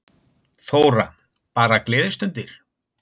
Þóra: Bara gleðistundir?